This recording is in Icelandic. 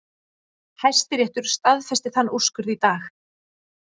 Hæstiréttur staðfesti þann úrskurð í dag